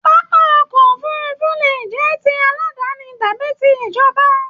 Pápá ọkọ òfurùnfu le jẹ tí aladani tàbí tí ìjọba.